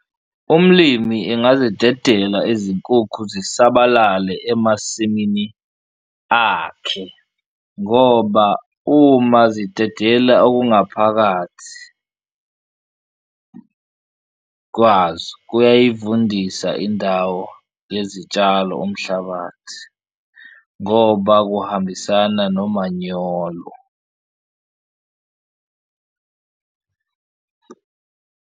Umlimi engazidedela izinkukhu zisabalale emasimini akhe ngoba uma zidedela okungaphakathi kwazo kuyayivundisa indawo yezitshalo umhlabathi ngoba kuhambisana nomanyolo.